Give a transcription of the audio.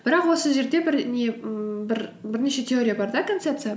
бірақ осы жерде бір не ммм бірнеше теория бар да концепция